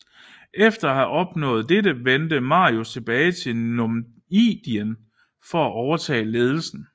Efter at have opnået dette vendte Marius tilbage til Numidien for at overtage ledelsen